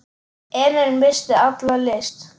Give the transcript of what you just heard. Emil missti alla lyst.